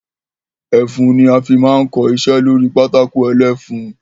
Ẹfun ni a fi máa ń kọ iṣẹ́ lórí pátákó ẹlẹ́fun.